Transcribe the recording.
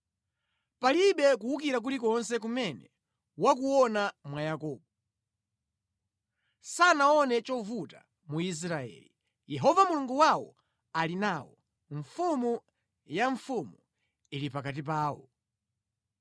“Palibe kuwukira kulikonse kumene wakuona mwa Yakobo, sanaone chovuta mu Israeli. Yehova Mulungu wawo ali nawo: mfuwu wa mfumu uli pakati pawo.